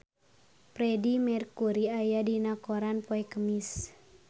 Freedie Mercury aya dina koran poe Kemis